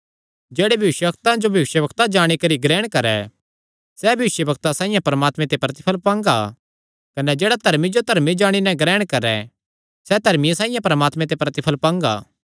जेह्ड़ा भविष्यवक्ता जो भविष्यवक्ता जाणी करी ग्रहण करैं सैह़ भविष्यवक्ता साइआं परमात्मे ते प्रतिफल़ पांगा कने जेह्ड़ा धर्मी जो धर्मी जाणी नैं ग्रहण करैं सैह़ धर्मिये साइआं परमात्मे ते प्रतिफल़ पांगा